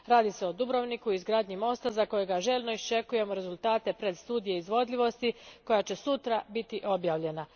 Radi se o Dubrovniku i izgradnji mosta za koji željno iščekujemo rezultate predstudije izvodljivosti koja će sutra biti objavljena.